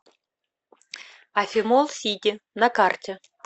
афимолл сити на карте